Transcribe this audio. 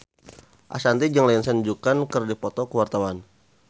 Ashanti jeung Lindsay Ducan keur dipoto ku wartawan